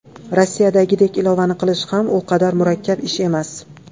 Rossiyadagidek ilovani qilish ham u qadar murakkab ish emas.